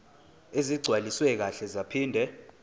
ezigcwaliswe kahle zaphinde